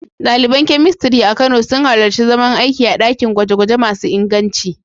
Daliban Chemistry a Kano sun halarci zaman aiki a dakin gwaje-gwaje masu inganci.